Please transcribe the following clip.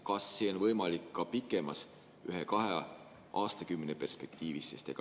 Kas see on võimalik ka pikemas, ühe või kahe aastakümne perspektiivis?